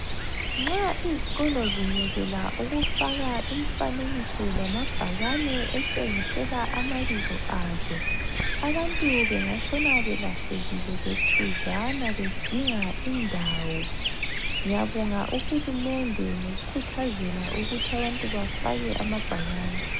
Nxa izikolo zingekela ukufaka imfanekiso lamabhakane etshengisela amabizo azo, abantu bengatshona belahlekile bethuzana bedinga indawo .Ngiyabonga uHulumende ngokukhuthazela ukuthi abantu bafake amabhakane.